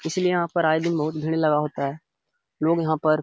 इसीलिए यहाँ पर आए दिन बहोत भीड़ लगा होता है लोग यहाँ पर --